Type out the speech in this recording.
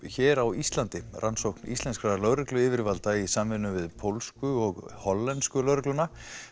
hér á Íslandi rannsókn íslenskra lögregluyfirvalda í samvinnu við pólsku og hollensku lögregluna